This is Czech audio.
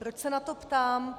Proč se na to ptám?